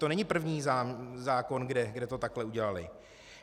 To není první zákon, kde to takhle udělali.